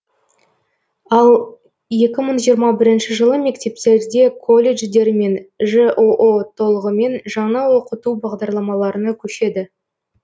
ал екі мың жиырма бірінші жылы мектептерде колледждер мен жоо толығымен жаңа оқыту бағдарламаларына көшеді